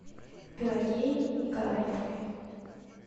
пелагеей николаевной